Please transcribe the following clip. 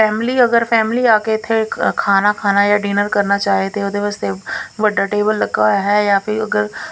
family ਅਗਰ family ਆ ਕੇ ਇੱਥੇ ਖਾਣਾ ਖਾਣਾ ਯਾ ਡਿਨਰ ਕਰਨਾ ਚਾਹੇ ਤੇ ਉਹਦੇ ਵਾਸਤੇ ਵੱਡਾ ਟੇਬਲ ਲੱਗਾ ਹੋਇਆ ਹੈ ਯਾ ਫਿਰ ਉਹ ਅਗਰ--